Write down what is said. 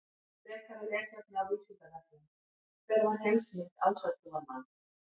Frekara lesefni á Vísindavefnum: Hver var heimsmynd ásatrúarmanna?